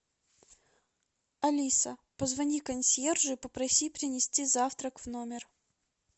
алиса позвони консьержу и попроси принести завтрак в номер